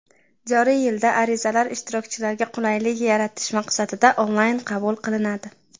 joriy yilda arizalar ishtirokchilarga qulaylik yaratish maqsadida onlayn qabul qilinadi.